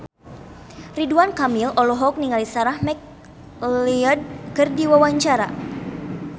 Ridwan Kamil olohok ningali Sarah McLeod keur diwawancara